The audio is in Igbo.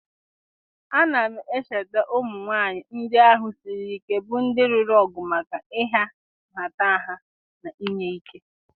a na m echeta ụmụ nwanyị ndị ahụ siri ike bụ ndị lụrụ ọgụ maka ịha nhatanha na inye ike?